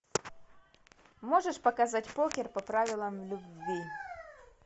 можешь показать покер по правилам любви